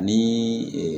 Ni